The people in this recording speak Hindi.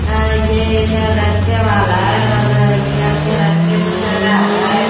ये एक रिक्शे वाला है और ये अपने रिक्शे को चला रहा है।